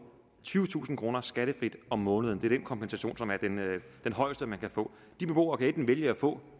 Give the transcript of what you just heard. tyvetusind kroner skattefrit om måneden det er den kompensation som er den højeste man kan få de beboere kan enten vælge at få